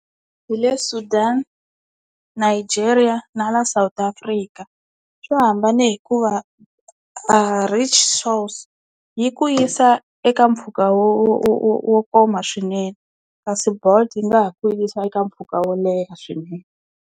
Hi le Sudan, Nigeria na la South Africa swo hambana hikuva a rickshaws yi ku yisa eka mpfhuka wo wo wo wo wo koma swinene kasi Bolt yi nga ha ku yisa eka mpfhuka wo leha swinene.